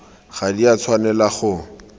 ga di a tshwanela go